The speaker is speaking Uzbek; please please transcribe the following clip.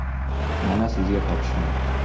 Mana sizga topishmoq.